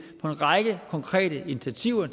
række konkrete initiativer